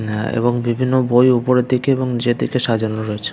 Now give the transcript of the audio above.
আ এবং বিভিন্ন বই ওপরের দিকে এবং নিচের দিকে সাজানো রয়েছে ।